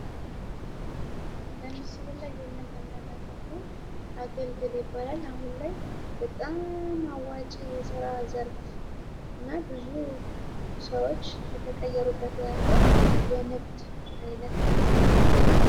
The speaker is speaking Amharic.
በምስሉ ላይ የምንመለከተዉ አገልግል ይባላል። አሁን ላይ በጣም አዋጭ የስራ ዘርፍ እና ብዙ ሰዎች እየተቀየሩበት ያለ የንግድ አይነት ነዉ።